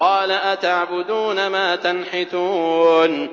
قَالَ أَتَعْبُدُونَ مَا تَنْحِتُونَ